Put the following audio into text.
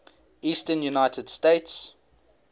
eastern united states